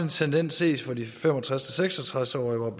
tendens ses for de fem og tres til seks og tres årige hvor